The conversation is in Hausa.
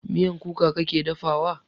Miyan kuka kake dafa wa?